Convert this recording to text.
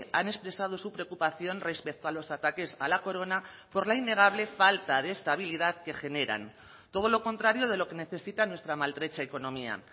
han expresado su preocupación respecto a los ataques a la corona por la innegable falta de estabilidad que generan todo lo contrario de lo que necesita nuestra maltrecha economía